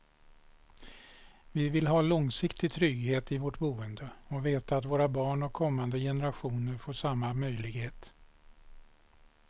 Vi vill ha långsiktig trygghet i vårt boende och veta att våra barn och kommande generationer får samma möjlighet.